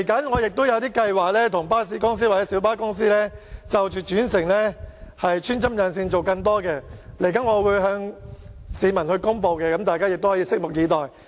我未來也會為巴士公司與小巴公司的轉乘安排穿針引線，提供更多服務，我稍後將會向市民公布，大家可以拭目以待。